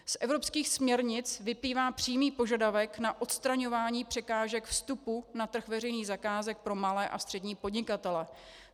Z evropských směrnic vyplývá přímý požadavek na odstraňování překážek vstupu na trh veřejných zakázek pro malé a střední podnikatele.